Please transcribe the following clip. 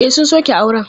E, sun sauke auren.